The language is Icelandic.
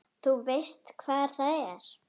Þú veist hvar það er?